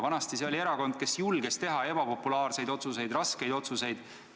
Vanasti oli Isamaa see erakond, kes julges teha ebapopulaarseid otsuseid, raskeid otsuseid.